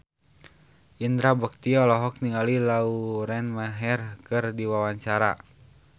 Indra Bekti olohok ningali Lauren Maher keur diwawancara